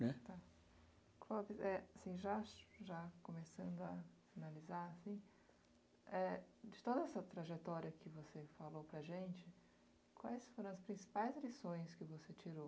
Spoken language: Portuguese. Né? Tá, qual que, eh, assim, já já começando a analisar, assim, eh, de toda essa trajetória que você falou para a gente, quais foram as principais lições que você tirou?